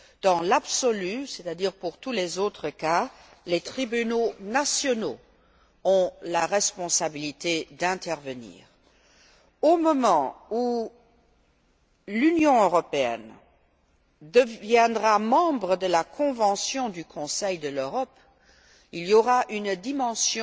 Dans l'absolu, c'est à dire pour tous les autres cas, les tribunaux nationaux ont la responsabilité d'intervenir. Lorsque l'Union européenne deviendra membre de la Convention du Conseil de l'Europe, il y aura une dimension